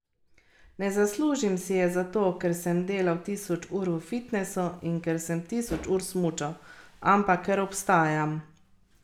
Ne zaslužim si je zato, ker sem delal tisoč ur v fitnesu in ker sem tisoč ur smučal, ampak ker obstajam.